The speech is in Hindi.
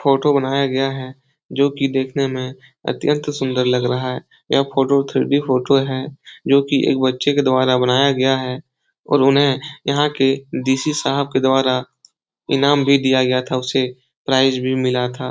फोटो बनाया गया है जो कि देखने में अतियंत सुंदर लग रहा है। यह फोटो थ्री डी फोटो है जो कि एक बच्चे के द्वारा बनाया गया है और उन्हें यहाँ के डीसी साहिब के द्वारा इनाम भी दिया गया था। उसे प्राइज भी मिला था।